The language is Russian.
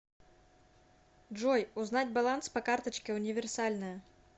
джой узнать баланс по карточке универсальная